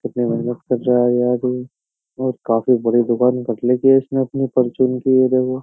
कितनी मेहनत कर रहा है यार ये और काफी बड़ी दुकान कर ले कि इसने अपनी परचून की ये देखो।